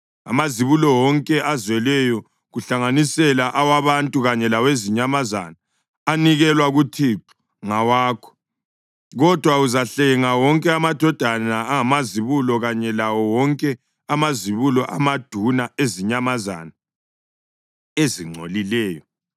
Amazibulo wonke azelweyo, kuhlanganisela awabantu kanye lawezinyamazana, anikelwe kuThixo ngawakho. Kodwa uzahlenga wonke amadodana angamazibulo kanye lawo wonke amazibulo amaduna ezinyamazana ezingcolileyo.